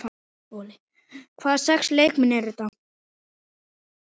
Hvaða sex leikmenn eru þetta?